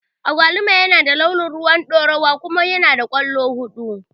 Agwaluma yana da launin rowan ɗorawa kuma yanada kwallo guda huɗu.